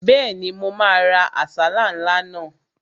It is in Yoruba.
Bẹ́ẹ̀ni, mo máa ra àsálà ńlá náà